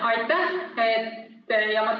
Aitäh!